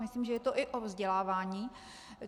Myslím, že je to i o vzdělávání.